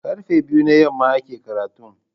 Karfe biyu na yamma ake karatun.